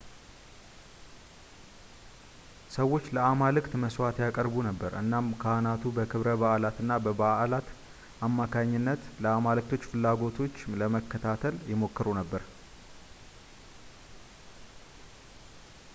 ሰዎች ለአማልክት መስዋእት ያቅርቡ ነበር እናም ካህናቱ በክብረ በዓላት እና በበዓላት አማካይነት ለአማልክቶች ፍላጎቶች ለመከታተል ይሞክሩ ነበር